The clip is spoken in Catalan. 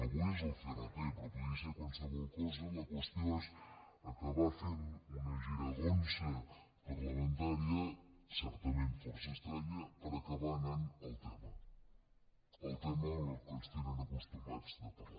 avui és el crt però podria ser qualsevol cosa la qüestió és acabar fent una giragonsa parlamentària certament força estranya per acabar anant al tema al tema a què ens tenen acostumats de parlar